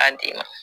An den na